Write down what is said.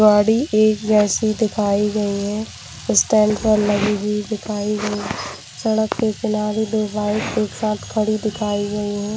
गाड़ी एक जैसी दिखाई गई हैस्टैंड पर लगी हुई दिखाई गईसड़क के किनारे दो बाइक एक साथ खड़ी दिखाई गई है।